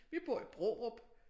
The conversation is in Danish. Vi bor i Brårup